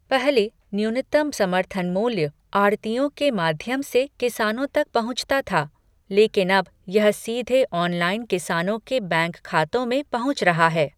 पहले, न्यूनतम समर्थन मूल्य आढ़तियों के माध्यम से किसानों तक पहुंचता था, लेकिन अब यह सीधे ऑनलाइन किसानों के बैंक खातों में पहुंच रहा है।